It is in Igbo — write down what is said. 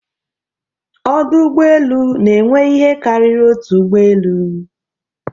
Ọdụ Ụgbọ elu n'enwe ihe karịrị otu ụgbọ elu.